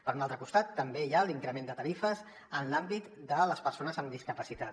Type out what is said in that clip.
per un altre costat també hi ha l’increment de tarifes en l’àmbit de les persones amb discapacitat